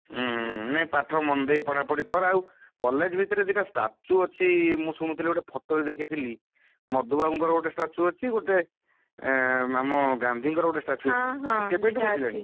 ହୁଁ ନାଇଁ ପାଠ ମନଦେଇ ପଢାପଢି କର ଆଉ college ଭିତରେ ଦିଟା statue ଅଛି ମୁଁ ଶୁଣୁଥିଲି, ଗୋଟେ photo ରେ ଦେଖିଥିଲି ମଧୁବାବୁଙ୍କର ଗୋଟେ statue ଅଛି ଗୋଟେ, ଆଁ ଆମ ଗାନ୍ଧୀଙ୍କର ଗୋଟେ statue ଅଛି କେବେଠୁ ବସିଲାଣି?